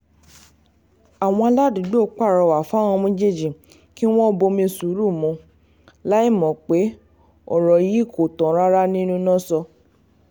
àwọn aládùúgbò pàrọwà fáwọn méjèèjì kí wọ́n bomi sùúrù mu láì mọ̀ pé ọ̀rọ̀ yìí kò tán rárá nínú náso